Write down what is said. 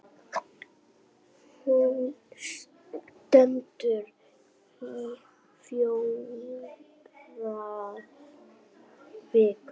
Hún stendur í fjórar vikur.